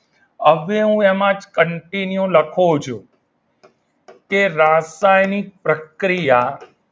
હવે હું એમાં continue લખું છું કે રાસાયણિક પ્રક્રિયા